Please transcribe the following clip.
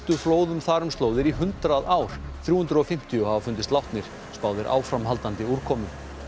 flóðum þar um slóðir í hundrað ár þrjú hundruð og fimmtíu hafa fundist látnir spáð er áframhaldandi úrkomu